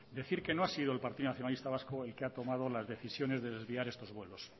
decir que no ha sido el partido nacionalista vasco el que ha tomado las decisiones de desviar estos vuelos